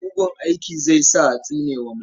Mugun aiki zai sa a tsine wa mutum.